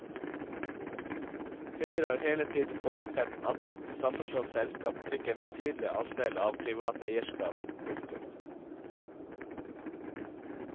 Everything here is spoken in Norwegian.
Høyre har hele tiden forutsett at et sammenslått selskap fikk en betydelig andel av privat eierskap. punktum